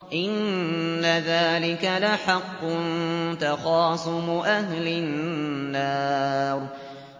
إِنَّ ذَٰلِكَ لَحَقٌّ تَخَاصُمُ أَهْلِ النَّارِ